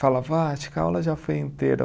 Falava, ah, acho que a aula já foi inteira.